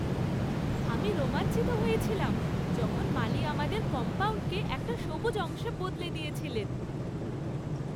আমি রোমাঞ্চিত হয়েছিলাম যখন মালী আমাদের কম্পাউন্ডকে একটা সবুজ অংশে বদলে দিয়েছিলেন।